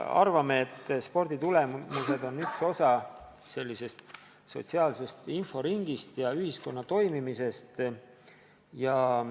Arvame, et sporditulemused on üks osa sotsiaalsest inforingist ja ühiskonna toimimisest.